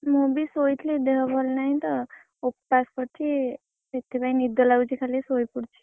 ମୁଁ ବି ଶୋଇଥିଲି ଦେହ ଭଲ ନାହିଁତ, ଉପାସ କରିଛି ସେଥିପାଇଁ ନିଦ ଲାଗୁଛି ଖାଲି ଶୋଇ ପଡିଛି।